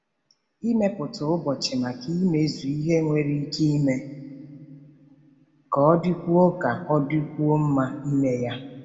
Ịmepụta ụbọchị maka imezu ihe nwere ike ime ka ọ dịkwuo ka ọ dịkwuo mma ime ya.